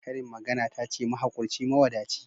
Karin magana ta ce mahaƙurci mawadaci.